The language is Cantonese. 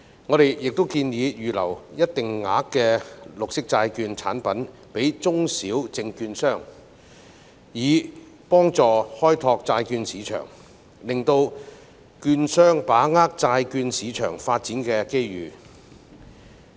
我們亦建議為中小證券商預留一定額度的綠色債券產品，以助開拓債市生意，讓券商把握債券市場發展的機遇。